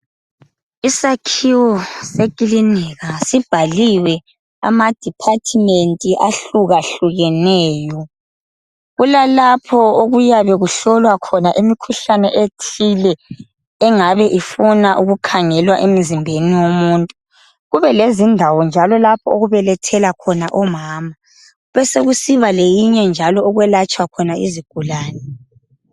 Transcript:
Isakhiwo sekilinika sibhaliwe ama department ahlukahlukeneyo. Kulalapho okuyabe kuhlolwa khona imikhuhlane ethile engabe ifuna ukukhangelwa emzimbeni womuntu kube lezindawo njalo okubelethela khona omama. Besekusiba leyinye njalo okulatshelwa khona izigulane.